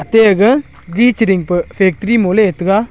te aga ji chiring pe factory mo ley taga.